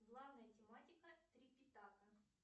главная тематика трипитака